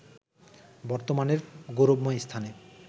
বর্তমানের গৌরবময় স্থানে